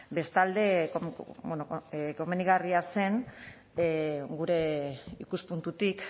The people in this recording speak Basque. bestalde bueno komenigarria zen gure ikuspuntutik